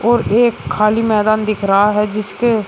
और एक खाली मैदान दिख रहा है जिसके--